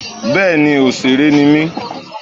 Bẹ́ẹ̀ni òsèré ni mí